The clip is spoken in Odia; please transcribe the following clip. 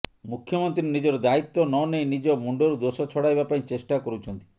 ମୁଖ୍ୟମନ୍ତ୍ରୀ ନିଜର ଦାୟିତ୍ୱ ନନେଇ ନିଜ ମୁଣ୍ଡରୁ ଦୋଷ ଛଡ଼ାଇବା ପାଇଁ ଚେଷ୍ଟା କରୁଛନ୍ତି